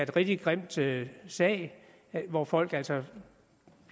rigtig grim sag sag hvor folk altså